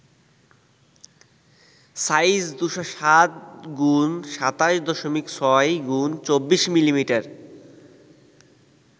Size: ২০৭ x ২৭.৬ x ২৪মি.মি.